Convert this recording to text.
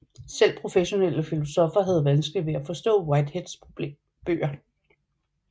Selv professionelle filosoffer havde vanskeligt ved at forstå Whiteheads bøger